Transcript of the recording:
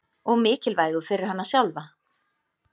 Og mikilvægu fyrir hana sjálfa.